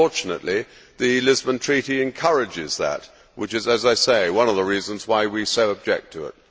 Unfortunately the Lisbon Treaty encourages that, which is, as I say, one of the reasons why we so object to it.